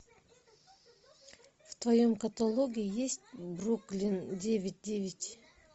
в твоем каталоге есть бруклин девять девять